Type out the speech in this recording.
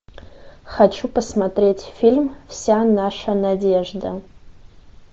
хочу посмотреть фильм вся наша надежда